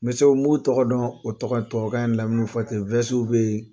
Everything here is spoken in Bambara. olu tɔgɔ dɔn tubabukan in na mina o fɔte o bɛ yen